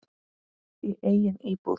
Í eigin íbúð.